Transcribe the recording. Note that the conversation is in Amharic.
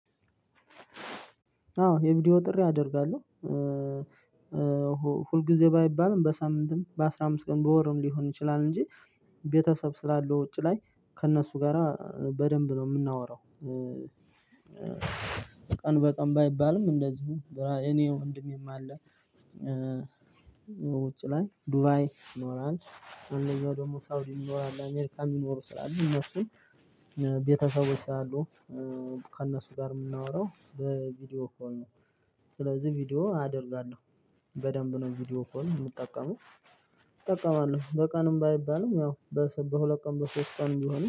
አዎ የቪዲዮ ጥሪ አደርጋለሁ። ሁል ጊዜ ባይባልም በሳምንትም በአስራ አምስት ቀን በወርም ሊሆን ይችላል እንጂ ቤተሰብ ስላለው ውጪ ላይ ከእነሱ ጋራ በደንብ ነው የምናወራው። ቀን በቀን ባይባልም እንደዚሁ እኔ ወንድሜም አለ። ውጭ ላይ ዱባይ ይኖራን አንደኛው ደግሞ ሳውዲ ይኖራል አሜሪካ የሚኖሩ ስላሉ እነሱን ቤተሰቦች ስላሉ ከእነሱ ጋር የምናወራው በቪዲዮ ኮል ነው። ስለዚህ ቪዲዮ አደርጋለሁ። በደንብ ነው ቪዲዮ ኮል ነው የምጠቀመው። እጠቀማሁ በቀንም ባይባልም ያው በሁለት ቀን በሶስት ቀን ቢሆንም